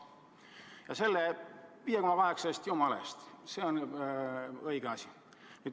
Aga see 5,8 miljonit – jumala eest, see on õige asi.